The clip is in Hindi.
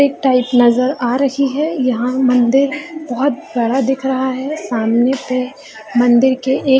एक टाइप नजर आ रही है यहाँ मंदिर बहुत बड़ा दिख रहा है सामने पे मंदिर के एक -